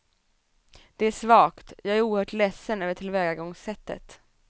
Det är svagt, jag är oerhört ledsen över tillvägagångssättet.